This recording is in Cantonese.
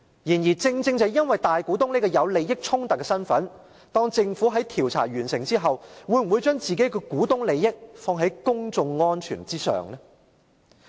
然而，正正因為大股東這個有利益衝突的身份，政府在調查完成後，會否把自己的股東利益置於公眾安全之上？